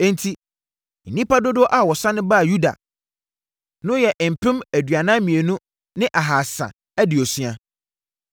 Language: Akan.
Enti, nnipa dodoɔ a wɔsane baa Yuda no yɛ mpem aduanan mmienu ne ahasa aduosia (42,360),